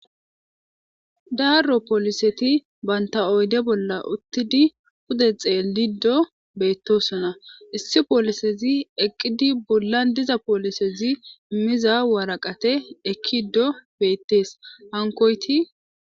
daaro pooliseti banta oyde bolla uttidi pude xeelido beettosona issi poolisezi eqqidi bullan diza poolisezi immiza waraqate ekkiddo beettees hankoyti